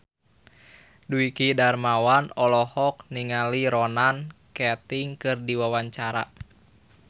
Dwiki Darmawan olohok ningali Ronan Keating keur diwawancara